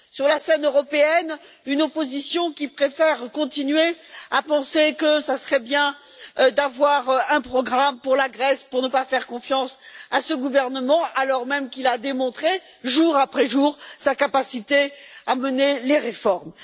Sur la scène européenne, une opposition qui préfère continuer à penser que ce serait bien d'avoir un programme pour la Grèce, pour ne pas faire confiance à ce gouvernement, alors même qu'il a démontré, jour après jour, sa capacité à mener les réformes.